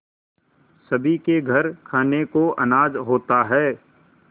सभी के घर खाने को अनाज होता है